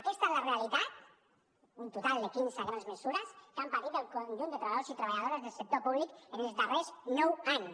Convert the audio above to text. aquesta és la realitat un total de quinze grans mesures que han patit el conjunt de treballadors i treballadores del sector públic en els darrers nou anys